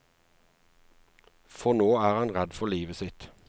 For nå er han redd for livet sitt.